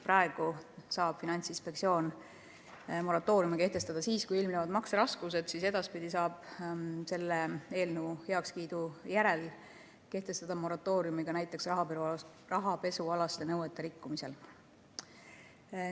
Praegu saab Finantsinspektsioon moratooriumi kehtestada siis, kui ilmnevad makseraskused, aga edaspidi, juhul kui see eelnõu heaks kiidetakse, saab kehtestada moratooriumi ka näiteks rahapesunõuete rikkumise korral.